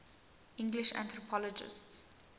english anthropologists